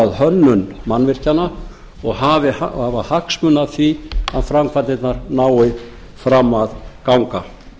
hönnun mannvirkjanna og hafa hagsmuni af því að framkvæmdirnar nái fram að ganga